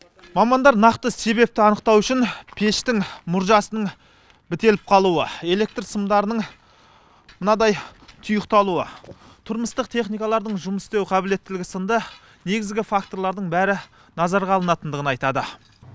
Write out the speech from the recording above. мамандар нақты себепті анықтау үшін пештің мұржасының бітеліп қалуы электр сымдарының мынадай тұйықталуы тұрмыстық техникалардың жұмыс істеу қабілеттілігі сынды негізгі факторлардың бәрі назарға алынатындығын айтады